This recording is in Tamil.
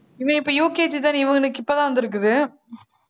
இவன் இப்ப UKG தான இவங்களுக்கு இப்ப தான் வந்துருக்குது